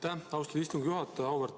Aitäh, austatud istungi juhataja!